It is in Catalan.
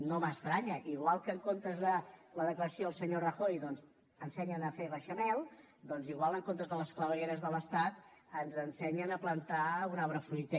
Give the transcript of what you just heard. no m’estranya igual que en comptes de la declaració del senyor rajoy ensenyen a fer beixamel doncs potser en comptes de les clavegueres de l’estat ens ensenyen a plantar un arbre fruiter